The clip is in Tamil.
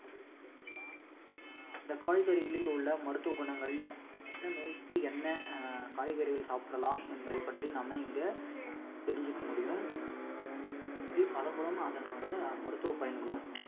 அந்த காய்கறிகளில் உள்ள மருத்துவ குணங்கள் என்ன நோய்க்கு என்ன அஹ் காய்கறிகள் சாப்பிடலாம் என்பதை பற்றி நம்ம இங்க அஹ் தெரிஞ்சுக்க முடியும் அதே மாதிரி பழங்களும் அதனோட மருத்துவ பயன்களும்